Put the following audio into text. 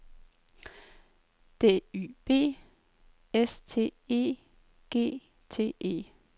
D Y B S T E G T E